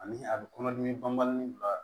Ani a bɛ kɔnɔdimi banbali bila